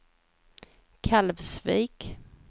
Kalvsvik